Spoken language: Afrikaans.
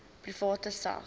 private sak